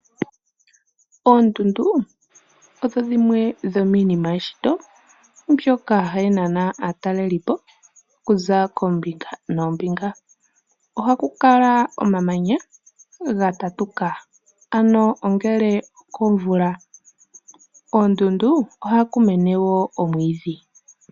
Oondundu odho dhimwe dhominima yeshito mbyoka hayi nana atalelipo okunza kombinga noombinga, oha kukala omamanya gatatuka ano ongele komvula , koondundu oha kumene wo omwidhi.